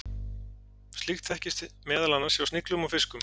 Slíkt þekkist meðal annars hjá sniglum og fiskum.